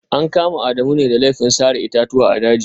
An kama Adamu ne da laifin sare itatuwa a dajin